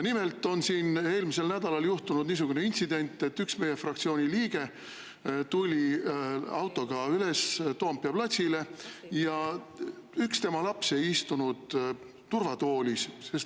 Nimelt juhtus eelmisel nädalal niisugune intsident, et üks meie fraktsiooni liige tuli autoga üles Toompea platsile, kuid üks tema laps ei istunud turvatoolis.